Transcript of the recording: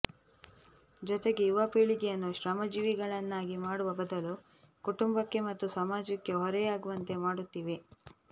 ಜೊತೆಗೆ ಯುವ ಪೀಳಿಗೆಯನ್ನು ಶ್ರಮಜೀವಿಗಳನ್ನಾಗಿ ಮಾಡುವ ಬದಲು ಕುಟುಂಬಕ್ಕೆ ಮತ್ತು ಸಮಾಜಕ್ಕೆ ಹೊರೆಯಾಗುವಂತೆ ಮಾಡುತ್ತಿವೆ